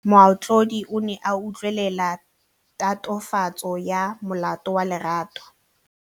Moatlhodi o ne a utlwelela tatofatsô ya molato wa Lerato.